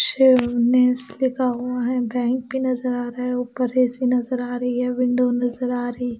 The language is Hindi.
लिखा हुआ है बैंक भी नजर आ रहा है ऊपर ए_सी नजर आ रही है विंडो नजर आ रही--